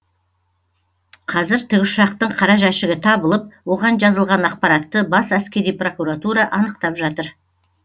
қазір тікұшақтың қара жәшігі табылып оған жазылған ақпаратты бас әскери прокуратура анықтап жатыр